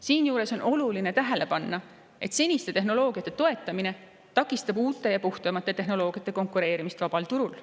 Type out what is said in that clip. Siinjuures on oluline tähele panna, et seniste tehnoloogiate toetamine takistab uute ja puhtamate tehnoloogiate konkureerimist vabal turul.